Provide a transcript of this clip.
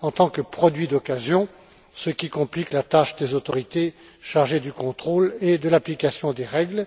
en tant que produits d'occasion, ce qui complique la tâche des autorités chargées du contrôle et de l'application des règles.